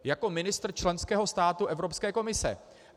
Jako ministr členského státu Evropské komise.